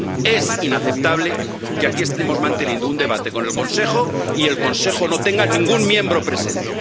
Es inaceptable que aquí estemos manteniendo un debate con el Consejo y el Consejo no tenga ningún miembro presente.